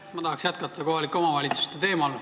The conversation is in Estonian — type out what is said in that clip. Ma tahan jätkata kohalike omavalitsuste teemal.